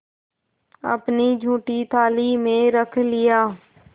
अपनी जूठी थाली में रख लिया